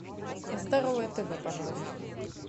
здоровое тв пожалуйста